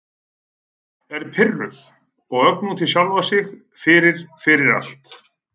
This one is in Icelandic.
Er pirruð og örg út í sjálfa sig fyrir- fyrir allt.